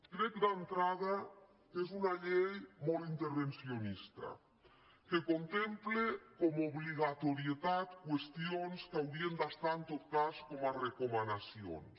crec d’entrada que és una llei molt intervencionista que contempla com a obligatorietat qüestions que haurien d’estar en tot cas com a recomanacions